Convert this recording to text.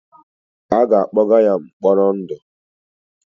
A ga-akpọga ya mkpọrọ ndụ.